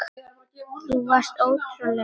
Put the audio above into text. Þú varst ótrúleg hetja.